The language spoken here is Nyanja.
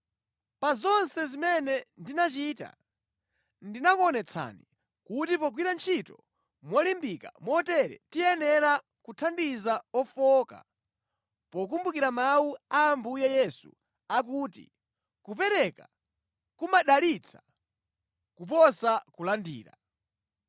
Pa zonse zimene ndinachita, ndinakuonetsani kuti pogwira ntchito molimbika motere tiyenera kuthandiza ofowoka, pokumbukira mawu a Ambuye Yesu akuti, ‘Kupereka kumadalitsa kuposa kulandira.’ ”